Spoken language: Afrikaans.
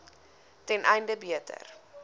ten einde beter